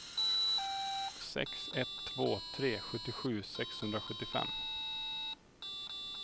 sex ett två tre sjuttiosju sexhundrasjuttiofem